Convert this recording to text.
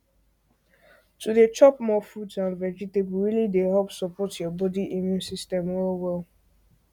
to dey chop more fruits and vegetables really dey help support your body immune system well well